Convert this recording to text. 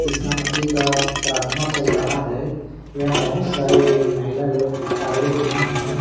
ईशा मसीह का प्रार्थना चल रहा है। यहाँ बहुत सारे महिला लोग आए हुए हैं।